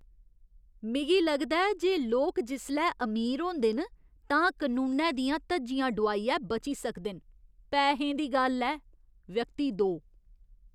मिगी लगदा ऐ जे लोक जिसलै अमीर होंदे न तां कनूनै दियां धज्जियां डोआइयै बची सकदे न। पैहें दी गल्ल ऐ! व्यक्ति दो